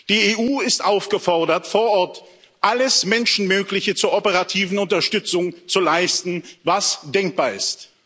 Die EU ist aufgefordert, vor Ort alles Menschenmögliche zur operativen Unterstützung zu leisten, was denkbar ist.